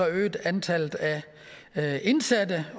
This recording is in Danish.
at antallet af indsatte